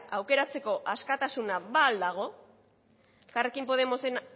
aukeratzeko askatasuna ba ahal dago elkarrekin podemosen